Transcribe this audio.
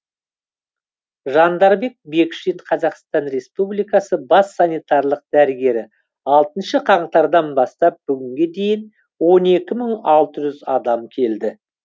жандарбек бекшин қазақстан республикасы бас санитарлық дәрігері алтыншы қаңтардан бастап бүгінге дейін он екі мың алты жүз адам келді